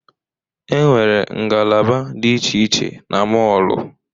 E nwere ngalaba dị iche iche na mọọlụ.